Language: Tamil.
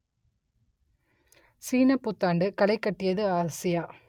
சீனப் புத்தாண்டு களைகட்டியது ஆசியா